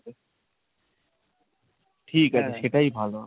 ঠিক আছে সেটাই ভালো হবে।